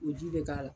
O ji bɛ k'a la